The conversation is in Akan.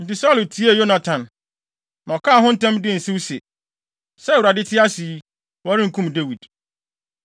Enti Saulo tiee Yonatan, na ɔkaa ho ntam dii nsew se, “Sɛ Awurade te ase yi, wɔrenkum Dawid.”